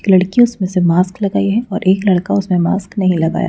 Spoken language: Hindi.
एक लड़की उसमें से मास्क लगाई है और एक लड़का उसमें मास्क नहीं लगाया।